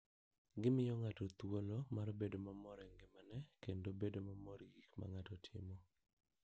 Gimiyo ng'ato thuolo mar bedo mamor e ngimane kendo bedo mamor gi gik ma ng'ato timo.